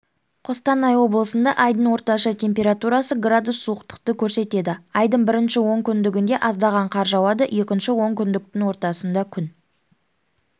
қостанай облысында айдың орташа температурасы градус суықтықты көрсетеді айдың бірінші онкүндігінде аздаған қар жауады екінші онкүндіктің ортасында күн